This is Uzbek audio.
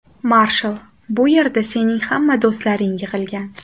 Marshall, bu yerda sening hamma do‘stlaring yig‘ilgan.